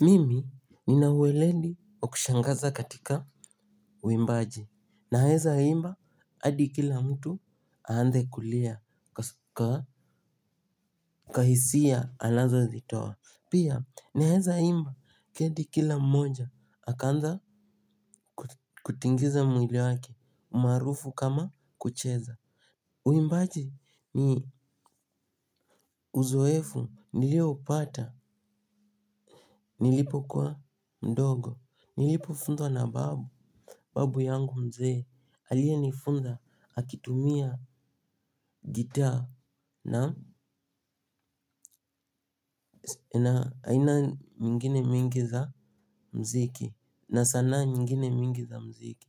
Mimi nina ueleli wa kushangaza katika uimbaji naeza imba hadi kila mtu aanze kulia kuwa hisia anazozitoa. Pia naeza imba kendi kila mmoja akaanza kutingiza mwili wake maarufu kama kucheza. Uimbaji ni uzoefu nilioupata nilipokuwa mdogo nilipofunzwa na babu. Babu yangu mzee aliyenifunza akitumia gitaa na aina nyingine mingi za mziki na sanaa nyingine mingi za mziki.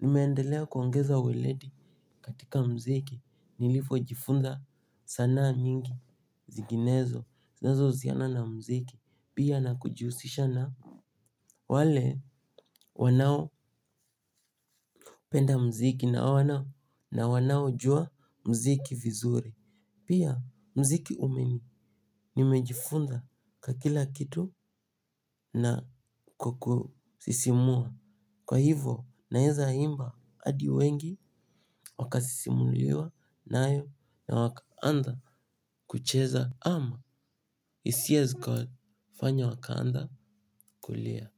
Nimeendelea kuongeza uwileti katika mziki nilivyojifunza sanaa nyingi zinginezo zinazo husiana na mziki pia na kujihusisha na wale wanao penda mziki na wanao jua mziki vizuri. Pia mziki umeni nimejifunza kwa kila kitu na kukusisimua. Kwa hivo naenza imba adi wengi wakasisimuliwa na hayo na wakaanza kucheza ama hisia zikawafanya wakaanza kulia.